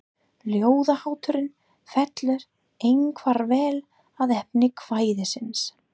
Ljóðahátturinn fellur einkar vel að efni kvæðisins.